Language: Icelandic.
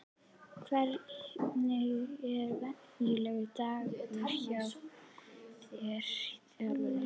Hvernig er venjulegur dagur hjá þér í þjálfuninni?